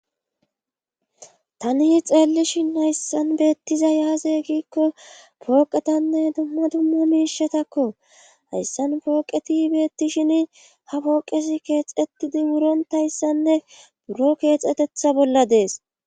tani xeellishin hayssan beettiza yaaze giikko pooqetanne dumma dumma miishatakko hayssan pooqeti beettishin ha pooqesi keexetidi wuronta hayssanne buro keexetetha bolla dees